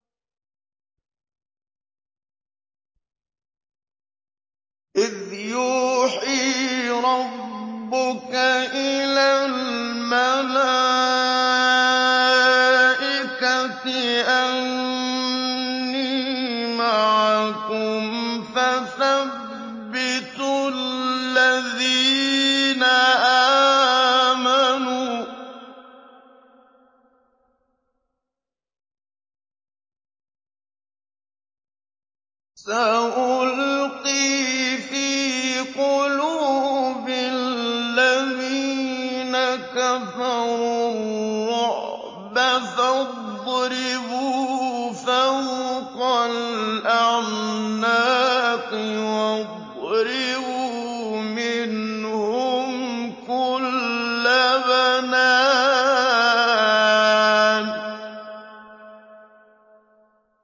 إِذْ يُوحِي رَبُّكَ إِلَى الْمَلَائِكَةِ أَنِّي مَعَكُمْ فَثَبِّتُوا الَّذِينَ آمَنُوا ۚ سَأُلْقِي فِي قُلُوبِ الَّذِينَ كَفَرُوا الرُّعْبَ فَاضْرِبُوا فَوْقَ الْأَعْنَاقِ وَاضْرِبُوا مِنْهُمْ كُلَّ بَنَانٍ